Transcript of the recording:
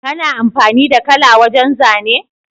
Kana amfani da kala wajan zane?